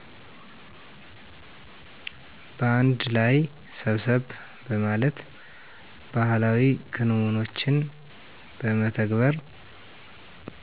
በአንድ ላይ ሰብሰብ በማለት ባህላዊ ክንውኖችን በመተግበር